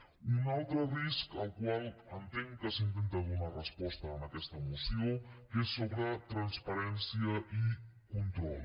un altre risc al qual entenc que s’intenta donar resposta en aquesta moció és sobre transparència i control